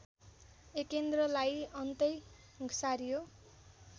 एकेन्द्रलाई अन्तै सारियो